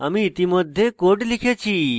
আমি ইতিমধ্যে code লিখেছি